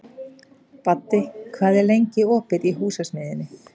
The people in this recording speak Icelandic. Baddi, hvað er lengi opið í Húsasmiðjunni?